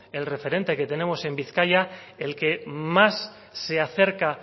el referente que tenemos en bizkaia el que más se acerca